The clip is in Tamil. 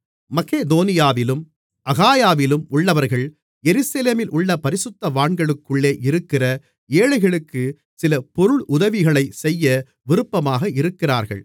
மக்கெதோனியாவிலும் அகாயாவிலும் உள்ளவர்கள் எருசலேமிலுள்ள பரிசுத்தவான்களுக்குள்ளே இருக்கிற ஏழைகளுக்கு சில பொருளுதவிகளைச் செய்ய விருப்பமாக இருக்கிறார்கள்